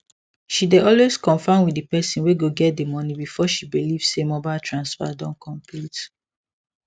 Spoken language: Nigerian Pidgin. she dey always confirm with the person wey go get the money before she believe say mobile transfer don complete